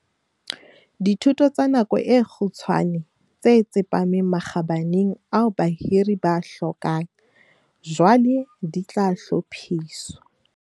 Dithuto tsa nako e kgutshwane tse tsepameng makgabaneng ao bahiri ba a hlokang, jwale di tla hlophiswa.